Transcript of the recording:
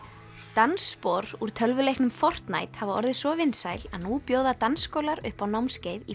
dansspor úr tölvuleiknum hafa orðið svo vinsæl nú bjóða dansskólar upp á námskeið í